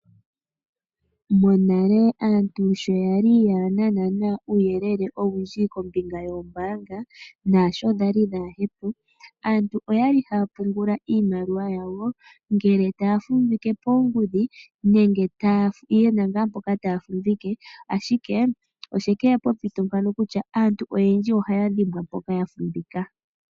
Monale aantu sho yali kayena uuyelele owundji kombinga yoombaanga naasho dhali kadhipo aantu oyali haya pungula iimaliwa yawo ngele taya fumvike poongudhi nenge yena ngaa mpo taya fumvike ashike oshekeya pompito mpono kutya aantu oyendji ohaya dhimbwa mpoka ya fumvika.